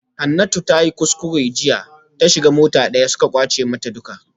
Hanatu tayi kuskure jiya ta shiga mota daya suka kwace mata duka